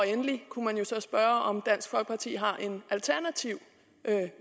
endelig kunne man jo så spørge om dansk folkeparti har en alternativ